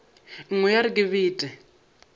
nngwe ya re ke bete